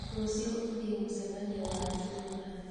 Rũciũ ũthiĩ mũcemanio wa itũũra